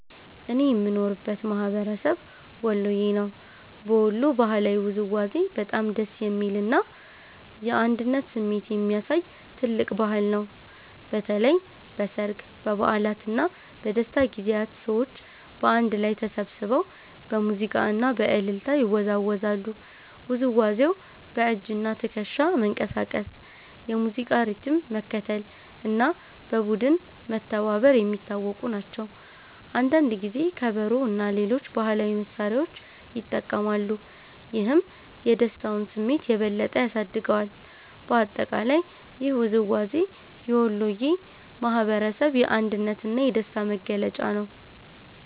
እኔ የምኖርበት ማህበረሰብ ወሎየ ነው። በወሎ ባህላዊ ውዝዋዜ በጣም ደስ የሚል እና የአንድነት ስሜት የሚያሳይ ትልቅ ባህል ነው። በተለይ በሠርግ፣ በበዓላት እና በደስታ ጊዜያት ሰዎች በአንድ ላይ ተሰብስበው በሙዚቃ እና በእልልታ ይወዛወዛሉ። ውዝዋዜው በእጅና ትከሻ መንቀሳቀስ፣ የሙዚቃ ሪትም መከተል እና በቡድን መተባበር የሚታወቁ ናቸው። አንዳንድ ጊዜ ከበሮ እና ሌሎች ባህላዊ መሳሪያዎች ይጠቀማሉ፣ ይህም የደስታውን ስሜት የበለጠ ያሳድገዋል። በአጠቃላይ ይህ ውዝዋዜ የወሎየ ማህበረሰብ የአንድነት እና የደስታ መገለጫ ነው።